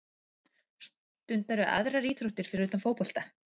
Stundarðu aðrar íþróttir fyrir utan fótbolta?